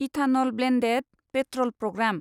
ethanol blended petrol programme